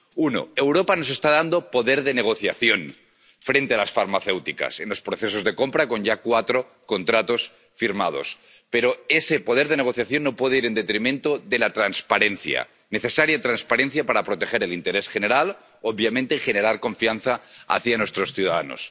Uno Europa nos está dando poder de negociación frente a las farmacéuticas en los procesos de compra, con ya cuatro contratos firmados, pero ese poder de negociación no puede ir en detrimento de la transparencia, necesaria transparencia para proteger el interés general, obviamente, y generar confianza en nuestros ciudadanos.